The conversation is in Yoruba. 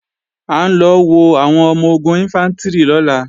À ń lọ wo àwọn ọmọ-ogun Ìnfántrì lọ́la